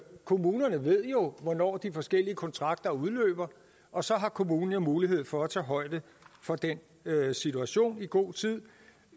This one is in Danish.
kommunerne ved jo hvornår de forskellige kontrakter udløber og så har kommunen mulighed for at tage højde for den situation i god tid